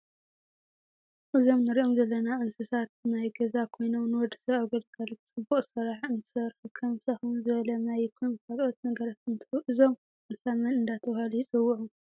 እዞም ንርኦም ዘለና እንሳሳታት ናይ ገዛ ኮይኖም ንወድሰብ ኣብ ግልጋለ ፅቡቅ ስራሕ እንትሰርሑ ከም ሽክም ዝበለ ማይ ይኩን ካልኡት ነገራት እንትህቡ እዞም እንስሳ መን እዳተበሃሉ ይፅውዑ?